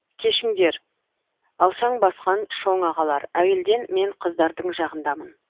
кешіңдер алшаң басқан шоң ағалар әуелден мен қыздардың жағындамын